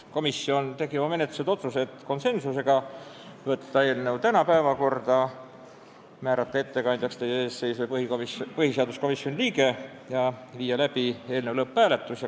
Komisjon tegi konsensuslikult menetluslikud otsused: saata eelnõu tänaseks päevakorda, määrata ettekandjaks teie ees seisev põhiseaduskomisjoni liige ja viia läbi eelnõu lõpphääletus.